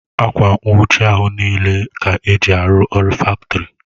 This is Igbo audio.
Akwa nnwuchi ahụ n'ile Ka eji arụ ọrụ faktori